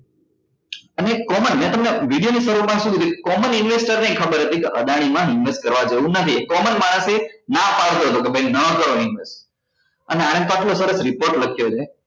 અને common મે તમને દ video ની શરૂ માં શુ કીધું common investor નેય ખબર હતી કે અદાણી મ invest કરવા જેવું નથી common માણસ એ ના પાડતો હતો કે ભાઈ ના કરો invest અને આને તો આટલો સરસ report લખ્યો છે